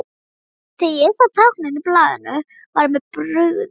Þegar ég sá táknin á blaðinu var mér brugðið.